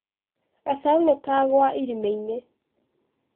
Ngacau nĩ kagwa irimainĩ.